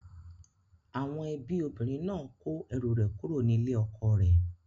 Àwọn ẹbí obìnrin náà kó ẹrù rẹ̀ kúrò ní ilé ọkọ rẹ̀